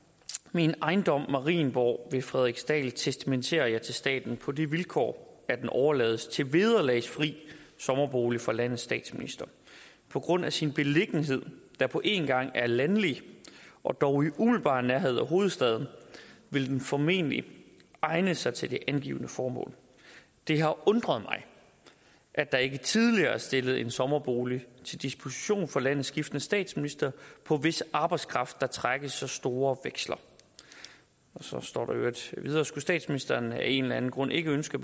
min ejendom marienborg ved frederiksdal testamenterer jeg til staten på det vilkår at den overlades til vederlagsfri sommerbolig for landets statsminister på grund af sin beliggenhed der på en gang er landlig og dog i umiddelbar nærhed af hovedstaden vil den formentlig egne sig til det angivne formål det har undret mig at der ikke tidligere er stillet en sommerbolig til disposition for landets skiftende statsministre på hvis arbejdskraft der trækkes så store veksler så står der i øvrigt videre skulle statsministeren af en eller anden grund ikke ønske